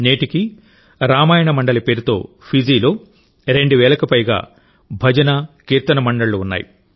నేటికీ రామాయణ మండలి పేరుతో ఫిజీలో రెండు వేలకు పైగా భజనకీర్తన మండళ్లు ఉన్నాయి